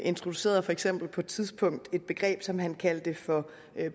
introducerede for eksempel på et tidspunkt et begreb som han kaldte for